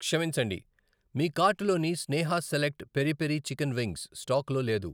క్షమించండి, మీ కార్టులోని స్నేహ select peri peri chicken wings స్టాకులో లేదు.